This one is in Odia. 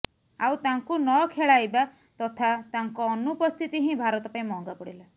ଆଉ ତାଙ୍କୁ ନଖେଳାଇବା ତଥା ତାଙ୍କ ଅନୁପସ୍ଥିତି ହିଁ ଭାରତ ପାଇଁ ମହଙ୍ଗା ପଡ଼ିଲା